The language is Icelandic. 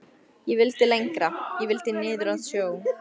Ég vildi lengra. ég vildi niður að sjó.